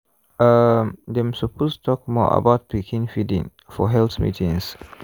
um dem suppose talk more about pikin feeding for health meetings.